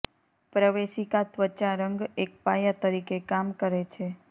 પ્રવેશિકા ત્વચા રંગ એક પાયા તરીકે કામ કરે છે